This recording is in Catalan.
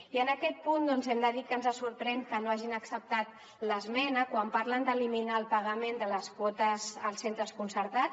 i en aquest punt doncs hem de dir que ens sorprèn que no hagin acceptat l’esmena quan parlen d’eliminar el pagament de les quotes als centres concertats